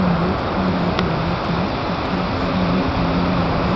In which there are many things which are arranged in a manner.